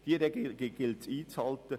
Diese Regelungen gilt es einzuhalten.